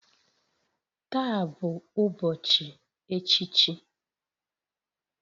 Taa bụ ụbọchị echichi